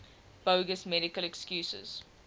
bogus medical excuses